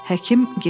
Həkim getdi.